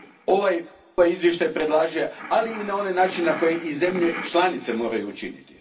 ovaj izvještaj predlaže, ali i na onaj način na koji to zemlje članice moraju učiniti.